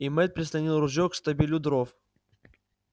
и мэтт прислонил ружье к штабелю дров